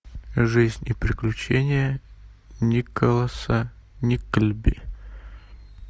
жизнь и приключения николаса никльби